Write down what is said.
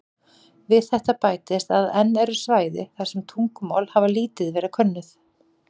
Við þetta bætist að enn eru svæði þar sem tungumál hafa lítið verið könnuð.